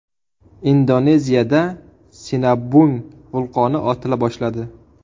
Indoneziyada Sinabung vulqoni otila boshladi.